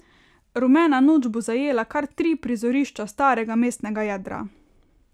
Rumena noč bo zajela kar tri prizorišča starega mestnega jedra.